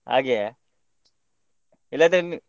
ಹಾಗೆಯಾ ಇಲ್ಲದ್ರೆ.